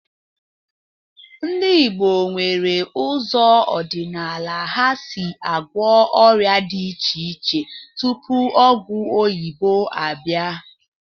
Ndị Igbo nwere ụzọ ọdịnala ha si agwọ ọrịa di iche iche tupu ọgwụ oyibo abịa